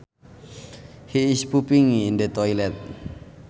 He is pooping in the toilet